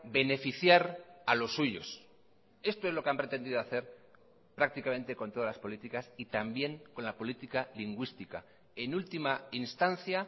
beneficiar a los suyos esto es lo que han pretendido hacer prácticamente con todas las políticas y también con la política lingüística en última instancia